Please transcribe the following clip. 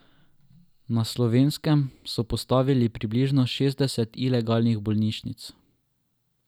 Na Slovenskem so postavili približno šestdeset ilegalnih bolnišnic.